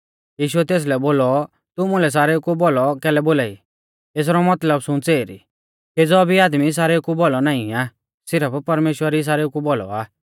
यीशुऐ तेसलै बोलौ तू मुलै सारेउ कु भौलौ कैलै बोलाई एसरौ मतलब सुंच़ एरी केज़ौ भी आदमी सारेउ कु भौलौ नाईं आ सिरफ परमेश्‍वर ई सारेउ कु भौलौ आ